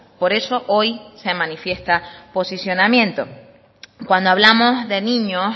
por eso hoy se manifiesta posicionamiento cuando hablamos de niños